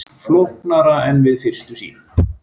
Flóknara en við fyrstu sýn